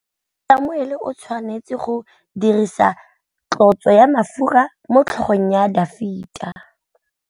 Samuele o tshwanetse go dirisa tlotsô ya mafura motlhôgong ya Dafita.